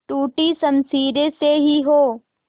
टूटी शमशीरें से ही हो